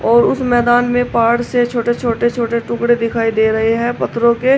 और उस मैदान में पहाड़ से छोटे छोटे छोटे छोटे टुकड़े दिखाई दे रहे हैं पत्थरों के।